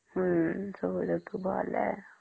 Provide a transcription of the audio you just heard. ହମ୍ମ ସବୁ ଋତୁ ଭଲ ହେ